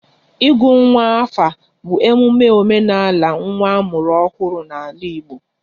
Ịgụ nwa afa bụ emume omenala nwa a mụrụ ọhụrụ n'ala Igbo